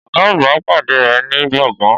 Ọ̀gá àgbà pàdé rẹ̀ ní gbọ̀ngàn